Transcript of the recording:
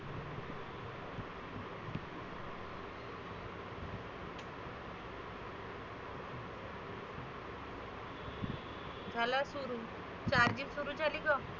झाला सुरु charging सुरु झाली बघ.